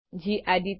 gedit